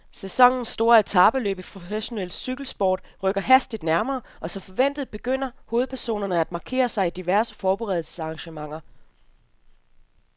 Sæsonens store etapeløb i professionel cykelsport rykker hastigt nærmere, og som forventet begynder hovedpersonerne at markere sig i diverse forberedelsesarrangementer.